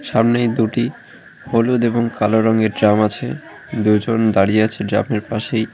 সামনেই দুটি হলুদ এবং কালো রঙের ড্রাম আছে দুজন দাঁড়িয়ে আছে ড্রামের পাশেই।